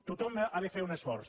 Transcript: tothom ha de fer un esforç